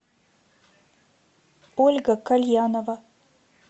ольга кальянова